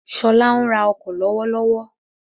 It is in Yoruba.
Ṣọlá ń ra ọkọ̀ lọ́wọ́lọ́wọ́.